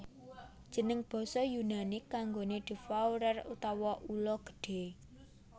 Jeneng basa Yunani kanggoné devourer utawa ula gedhé